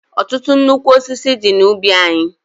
Ọtụtụ nnukwu osisi dị n'ubi anyị.